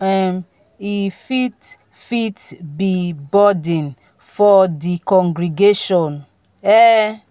um e fit fit be burden for di congregation um